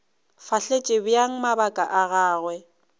fahletše bjang mabaka a gagwe